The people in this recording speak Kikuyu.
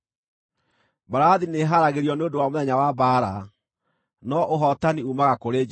Mbarathi nĩĩharagĩrio nĩ ũndũ wa mũthenya wa mbaara, no ũhootani uumaga kũrĩ Jehova.